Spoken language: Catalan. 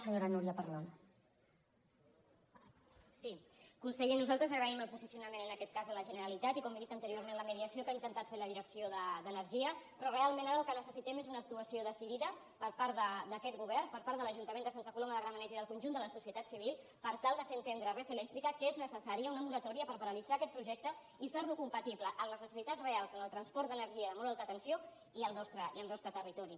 conseller nosaltres agraïm el posicionament en aquest cas de la generalitat i com he dit anteriorment la mediació que ha intentat fer la direcció d’energia però realment ara el que necessitem és una actuació decidida per part d’aquest govern per part de l’ajuntament de santa coloma de gramenet i del conjunt de la societat civil per tal de fer entendre a red eléctrica que és necessària una moratòria per paralitzar aquest projecte i fer lo compatible amb les necessitats reals en el transport d’energia de molt alta tensió i al nostre territori